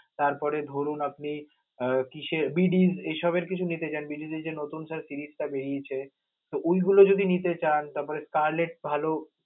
তারপরে ধরুন আপনে উহ BDJ নিতে চান, BDJ এই সবের sir frizze টা বেরিয়েছে, তো ওইগুলো যদি নিতে চান, তারপরে collect ভালো.